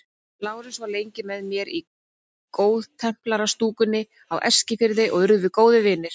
Lárus var lengi með mér í góðtemplarastúkunni á Eskifirði og urðum við góðir vinir.